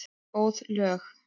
Góð lög.